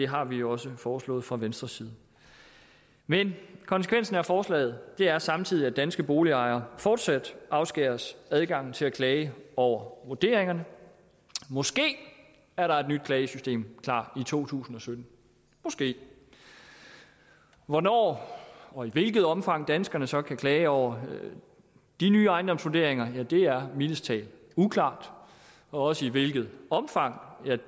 har vi jo også foreslået fra venstres side men konsekvensen af forslaget er samtidig at danske boligejere fortsat afskæres adgang til at klage over vurderingerne måske er der et nyt klagesystem klar i to tusind og sytten måske hvornår og i hvilket omfang danskerne så kan klage over de nye ejendomsvurderinger er mildest talt uklart og også i hvilket omfang ja